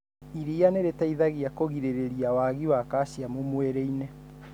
Iria nĩ rĩteithagia kũrigĩrĩrĩria wagi wa calciamu mwĩriini.